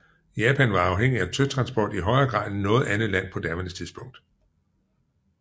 Japan var afhængig af søtransport i højere grad end noget andet land på daværende tidspunkt